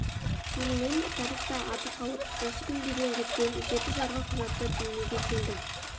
сонымен тарихта аты қалып осы күнге дейін жеткен жеті жарғы құжаты дүниеге келді